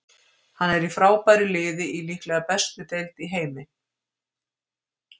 Hann er í frábæru liði í líklega bestu deild í heimi.